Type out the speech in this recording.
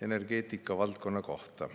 energeetikavaldkonna kohta.